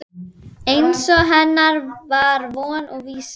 Eins og hennar var von og vísa.